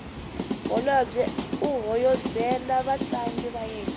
holobye u hoyozela vatlangi va yena